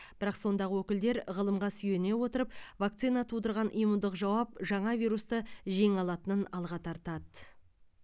бірақ сондағы өкілдер ғылымға сүйене отырып вакцина тудырған иммундық жауап жаңа вирусты жеңе алатынын алға тартады